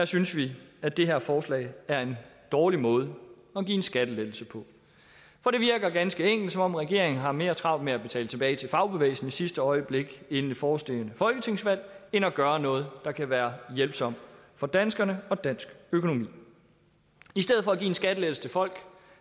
synes vi at det her forslag er en dårlig måde at give en skattelettelse på for det virker ganske enkelt som om regeringen har mere travlt med at betale tilbage til fagbevægelsen i sidste øjeblik inden det forestående folketingsvalg end at gøre noget der kan være hjælpsomt for danskerne og dansk økonomi i stedet for at give en skattelettelse til folk